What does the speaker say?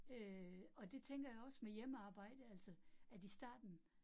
Øh og det tænker jeg også med hjemmearbejde altså, at i starten